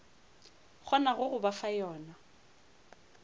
kgonago go ba fa yona